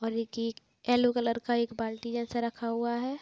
और एक ये येल्लो कलर का एक बाल्टी जैसा रखा हुआ है ।